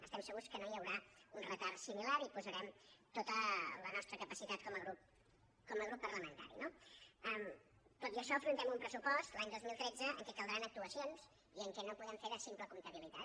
estem segurs que no hi haurà un retard similar i hi posarem tota la nostra capacitat com a grup parlamentari no tot i això afrontem un pressupost l’any dos mil tretze en què caldran actuacions i en què no podrem fer de simple comptabilitat